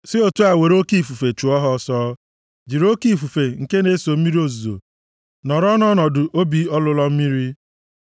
si otu a were oke ifufe chụọ ha ọsọ, jiri oke ifufe nke na-eso mmiri ozuzo mee ka ha nọrọ nʼọnọdụ obi ọlụlọ mmiri.